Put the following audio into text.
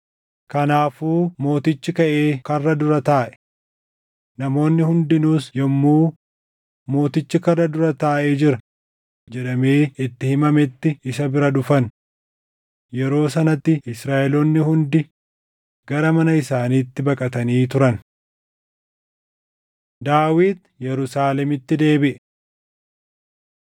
Kanaafuu mootichi kaʼee karra dura taaʼe. Namoonni hundinuus yommuu, “Mootichi karra dura taaʼee jira” jedhamee itti himametti isa bira dhufan. Yeroo sanatti Israaʼeloonni hundi gara mana isaaniitti baqatanii turan. Daawit Yerusaalemitti Deebiʼe